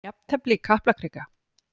Jafntefli í Kaplakrika